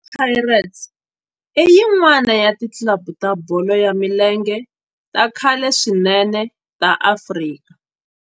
Orlando Pirates i yin'wana ya ti club ta bolo ya milenge ta khale swinene ta Afrika